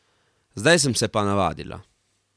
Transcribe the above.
Zdaj sem se pa navadila.